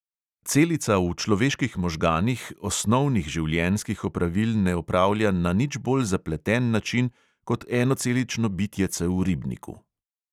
Celica v človeških možganih osnovnih življenjskih opravil ne opravlja na nič bolj zapleten način kot enocelično bitjece v ribniku.